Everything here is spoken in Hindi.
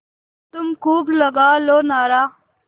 तुम खूब लगा लो नारा